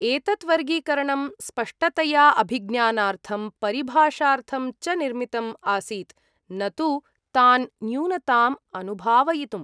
एतत् वर्गीकरणं स्पष्टतया अभिज्ञानार्थं परिभाषार्थं च निर्मितम् आसीत्, न तु तान् न्यूनताम् अनुभावयितुम्।